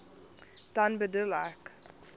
dan bedoel ek